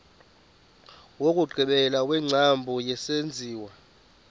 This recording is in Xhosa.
wokugqibela wengcambu yesenziwa